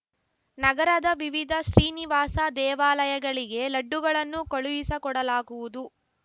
ನಗರದ ವಿವಿಧ ಶ್ರೀನಿವಾಸ ದೇವಾಲಯಗಳಿಗೆ ಲಡ್ಡುಗಳನ್ನು ಕಳುಹಿಸಕೊಡಲಾಗುವುದು